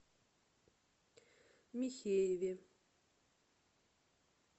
михееве